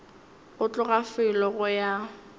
go tloga felo go ya